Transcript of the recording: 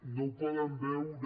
no ho poden veure